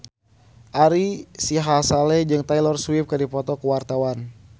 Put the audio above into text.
Ari Sihasale jeung Taylor Swift keur dipoto ku wartawan